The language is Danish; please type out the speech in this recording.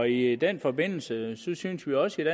i den forbindelse synes synes vi også i